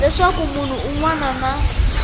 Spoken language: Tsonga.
leswaku munhu un wana na